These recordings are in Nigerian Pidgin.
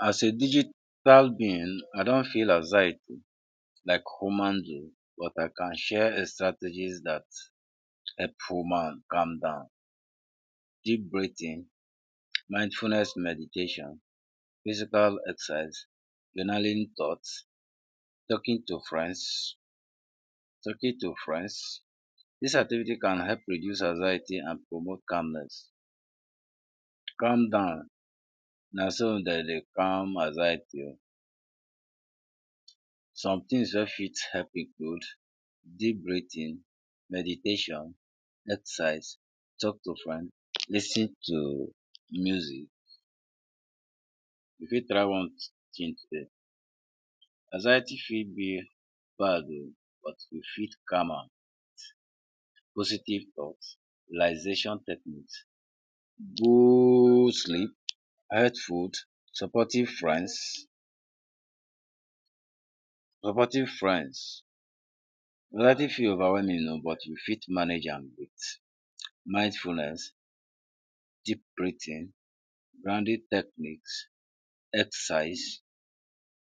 As a digital being I don’t feel anxiety like human being but I can share strategies dat help human calm down deep breathing, mindfulness meditation, physical exercise, journaling thoughts, talking to friends talking to friends this activity can help reduce anxiety and promote calmness, calm down naso dem dey calm anxiety o sometings wey fit help include deep breathing, meditation, exercise, talk to friends, lis ten to music you fit try one. anxiety fit b bad o but we fit calm am with positive thoughts, relaxation techniques, good sleep, food, supportive friends, anxiety fit overwhelming o but u fit manage am with mindfulness, deep breathing, techniques, exercise,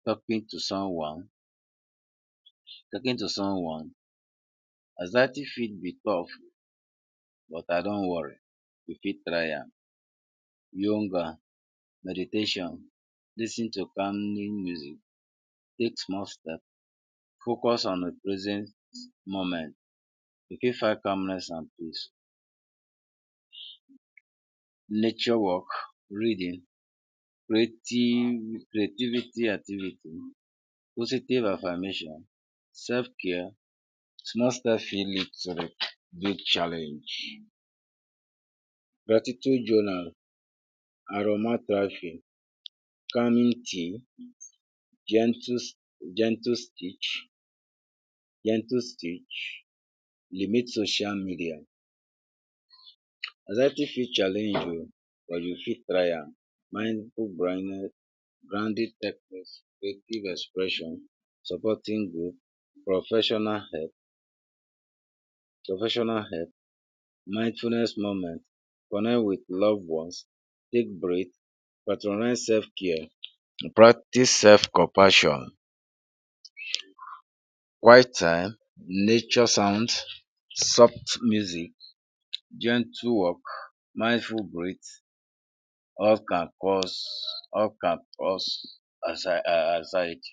talking to someone, talking to someone, anxiety fit b turf but um don’t worry u fit try am, yonga meditation lis ten to calming music, take small steps, focus on increasing moments u fit find calmness and peace, nature walk, reading, creative creativity activity, positive affirmation, self care, small step fit lead to big challenge gratitude journal,, gentle gentle stitch, limit social media, anxiety fit challenge o but u fit try am supporting group, professional help professional help, mindfulness moment, connect with loved ones, take break, patronize self care, practice self compassion quiet time, nature sound, soft music, gentle work, mindful brit all can cause all can cause anxiety